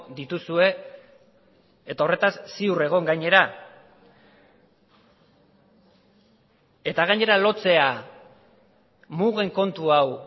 dituzue eta horretaz ziur egon gainera eta gainera lotzea mugen kontu hau